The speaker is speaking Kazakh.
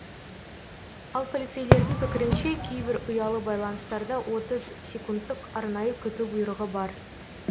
ал полицейлердің пікірінше кейбір ұялы байланыстарда отыз секундтық арнайы күту бұйрығы бар